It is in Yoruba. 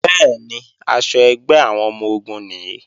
Bẹ́ẹ̀ni, aṣọ ẹgbẹ́ àwọn ọmọ-ogun nìí